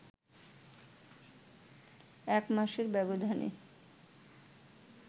এক মাসের ব্যবধানে